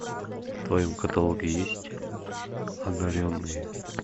в твоем каталоге есть одаренные